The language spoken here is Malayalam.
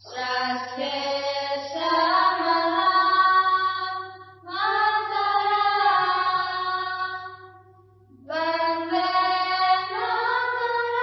ശസ്യശാമളാം മാതരം വന്ദേ മാതരം